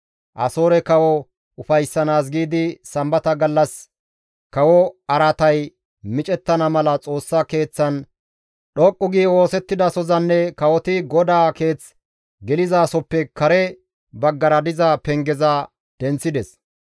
Asoore kawo ufayssanaas giidi sambata gallas kawo araatay micettana mala Xoossa Keeththan dhoqqu gi oosettidasozanne kawoti GODAA Keeth gelizasoppe kare baggara diza pengeza denththides.